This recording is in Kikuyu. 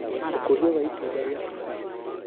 Ũkũria wa itunda rĩa Tufaa ( Mallus Domestica)